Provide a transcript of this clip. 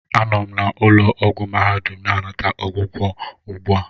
Anọ m na ụlọ ọgwụ mahadum na-anata ọgwụgwọ ugbu a